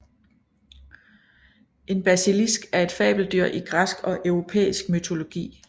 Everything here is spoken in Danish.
En basilisk er et fabeldyr i græsk og europæisk mytologi